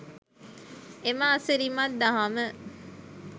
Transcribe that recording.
එම අසිරිමත් දහම